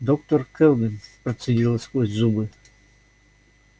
доктор кэлвин процедила сквозь зубы